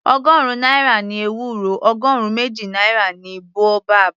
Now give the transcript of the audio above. Ọgọrun náírà ni ewúro, ọgọrun méjì náírà ni boabab.